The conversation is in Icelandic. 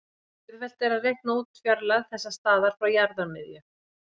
Auðvelt er að reikna út fjarlægð þessa staðar frá jarðarmiðju.